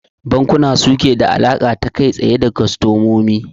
Bankuna suke da alaƙa ta kai tsaye da kwastamomi